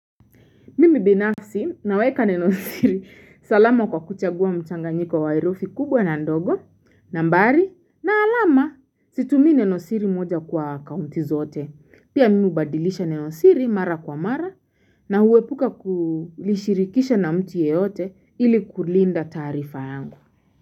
Mimi binafsi naweka nenosiri salama kwa kuchagua mchanganyiko wa herufi kubwa na ndogo nambari na alama situmii nenosiri moja kwa akaunti zote pia mimi hubadilisha nenosiri mara kwa mara na huepuka kulishirikisha na mtu yeyote ili kulinda taarifa yangu.